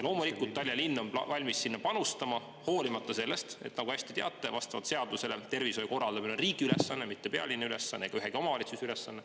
Loomulikult on Tallinna linn valmis sinna panustama, hoolimata sellest, et seaduse järgi, nagu te väga hästi teate, on tervishoiu korraldamine riigi ülesanne, mitte pealinna ega ühegi omavalitsuse ülesanne.